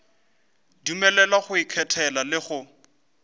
dumelelwa go ikgethela le go